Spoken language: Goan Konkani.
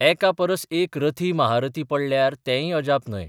एकापरस एक रथी महारथी पडल्यार तेंय अजाप न्हय.